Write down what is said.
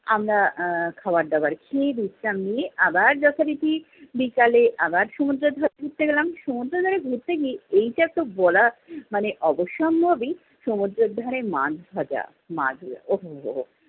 আমরা আহ খাবার-দাবার খেয়ে বিশ্রাম নিয়ে আবার যথারীতি বিকালে আবার সমুদ্রের ধারে ঘুরতে গেলাম। সমুদ্রের ধারে ঘুরতে গিয়ে, এইটা তো বলা মানে অবসম্ভাবি সমুদ্রের ধারের মাছভাজা। মাছভাজা ও হো